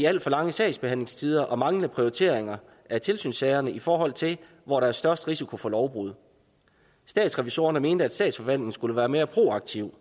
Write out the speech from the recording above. alt for lange sagsbehandlingstider og manglende prioritering af tilsynssagerne i forhold til hvor der er størst risiko for lovbrud statsrevisorerne mente at statsforvaltningen skulle være mere proaktiv